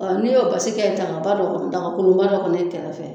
Ɔ n'i y'o basi kɛ dagaba dɔ kɔnɔ dagakolonba dɔ kɔnɔ i kɛrɛfɛ